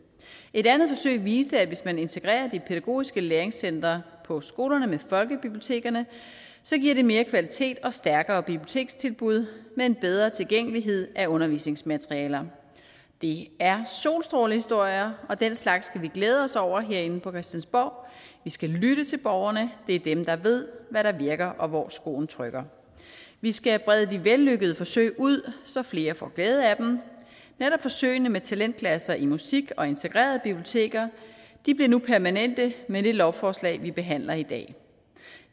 et andet forsøg viste at hvis man integrerer de pædagogiske læringscentre på skolerne med folkebibliotekerne giver det mere kvalitet og stærkere bibliotekstilbud med en bedre tilgængelighed af undervisningsmaterialer det er solstrålehistorier og den slags skal vi glæde os over herinde på christiansborg vi skal lytte til borgerne det er dem der ved hvad der virker og hvor skoen trykker vi skal brede de vellykkede forsøg ud så flere får glæde af dem netop forsøgene med talentklasser i musik og integrerede biblioteker bliver nu permanente med det lovforslag vi behandler i dag